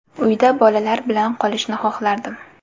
Uyda bolalar bilan qolishni xohlardim”.